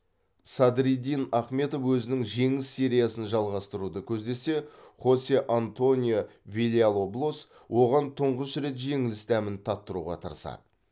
садриддин ахмедов өзінің жеңіс сериясын жалғастыруды көздесе хосе антонио вильялоблос оған тұңғыш рет жеңіліс дәмін таттыруға тырысады